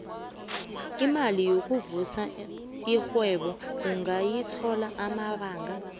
imali yokuvusa irhwebo ungayithola emabanga